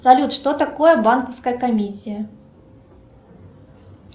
салют что такое банковская комиссия